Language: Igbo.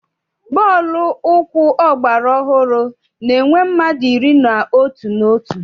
Bọọlụ ụkwụ ọgbara ọhụrụ na-enwe mmadụ iri na otu n'otu òtù.